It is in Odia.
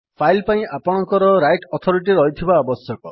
ଫାଇଲ୍ ପାଇଁ ଆପଣଙ୍କର ରାଇଟ୍ ଅଥୋରିଟି ରହିଥିବା ଆବଶ୍ୟକ